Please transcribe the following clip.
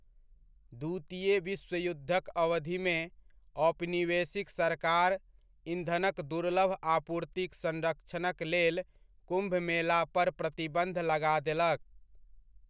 द्वितीय विश्वयुद्धक अवधिमे, औपनिवेशिक सरकार ईंधनक दुर्लभ आपूर्तिक संरक्षणकलेल कुम्भ मेलापर प्रतिबन्ध लगा देलक।